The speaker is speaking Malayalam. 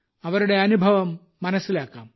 അവരുടെ അനുഭവം മനസ്സിലാക്കാം